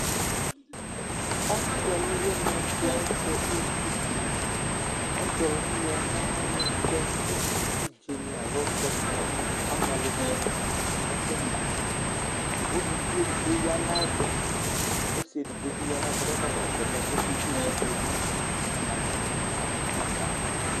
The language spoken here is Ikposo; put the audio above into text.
Ɔsɩ ɔlʋwɩnɩ dɩ azɛ evidze Ɔsɩ ɔlʋwɩnɩ yɛ lɛ ɔlʋtɛ ka evidzenɩ alo tɛ ka amɛ, amɛlʋtsɩnɩ, ɛfʋma Uluvi edigbo ya nʋ ayɛtʋ, ɔsɩ edigbo bɩ ya nʋ ayɛtʋ kʋ ɔkakɔsʋ alɛna yɛ kʋ ɔkeyǝ evidze yɛ nʋ atamɩ ada yɛ ava